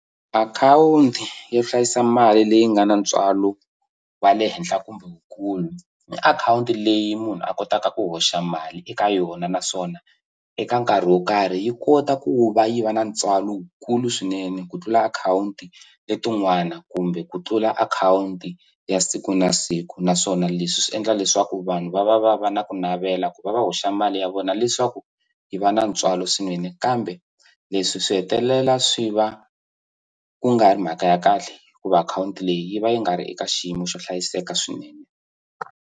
Akhawunti yo hlayisa mali leyi nga na ntswalo wa le henhla kumbe wukulu i akhawunti leyi munhu a kotaka ku hoxa mali eka yona naswona eka nkarhi wo karhi yi kota ku va yi va na ntswalo wukulu swinene ku tlula akhawunti letin'wana kumbe ku tlula akhawunti ya siku na siku naswona leswi swi endla leswaku vanhu va va va va na ku navela ku va va hoxa mali ya vona leswaku yi va na ntswalo swinene kambe leswi swi hetelela swi va ku nga ri mhaka ya kahle hikuva akhawunti leyi yi va yi nga ri eka xiyimo xo hlayiseka swinene.